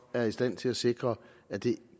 er i stand til at sikre at det